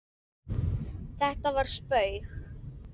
Þetta var spaug